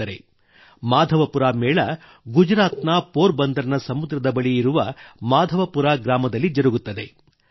ಸ್ನೇಹಿತರೇ ಮಾಧವಪುರ ಮೇಳ ಗುಜರಾತಿನ ಪೋರ್ ಬಂದರ್ ನ ಸಮುದ್ರದ ಬಳಿ ಇರುವ ಮಾಧವಪುರ ಗ್ರಾಮದಲ್ಲಿ ಜರುಗುತ್ತದೆ